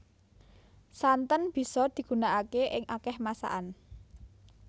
Santen bisa digunakaké ing akéh masakan